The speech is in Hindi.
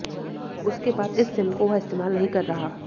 उसके बाद इस सिम को वह इस्तेमाल नहीं कर रहा है